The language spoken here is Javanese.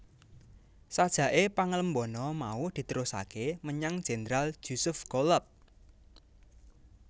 Sajake pangalembana mau diterusake menyang Jendral Jusuf Goulab